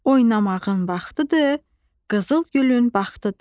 Oynamağın vaxtıdır, qızıl gülün vaxtıdır.